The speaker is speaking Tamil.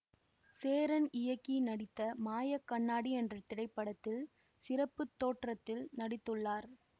சேரன் இயக்கி நடித்த மாயக் கண்ணாடி என்ற திரைப்படத்தில் சிறப்பு தோற்றத்தில் நடித்துள்ளார்